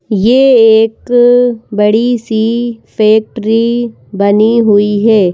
यह एक बड़ी सी फैक्ट्री बनी हुई है।